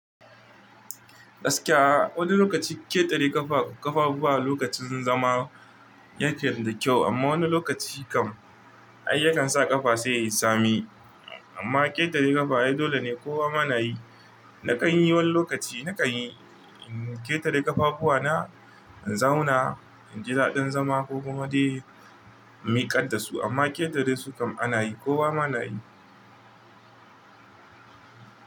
Gaskiya, wani lokaci ƙetare ƙafa, ƙafafuwa a lokacin zama yake da kyau amma wani lokaci kam ai yakan sa ƙafa sai ya sami. Amma ƙetare ƙafa ai dole ne kowa mana yi. Na kan yi wani lokaci, na kan yi ƙetare ƙafafuwa na in zauna, in ji daɗin zama ko kuma dai in miƙa da su amma ƙetare su kam anayi kowa mana yi.